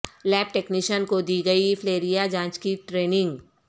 lab technician کو دی گئی فلیریا جانچ کی ٹریننگ